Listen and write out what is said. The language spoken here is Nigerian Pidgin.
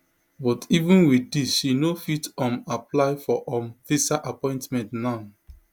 but even wit dis she no fit um apply for um visa appointment now